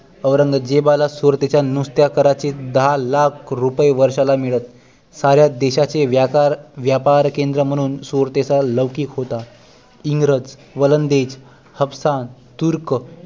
औरंगजेबाला सुरतेच्या नुसत्या कारचे दहा लाख रुपये वर्षाला मिळत साऱ्या देशाचे व्यापार व्यापार केंद्र म्हणून सुरतेचा लौकिक होता इंग्रज वलंदेज हाबसाण तुर्क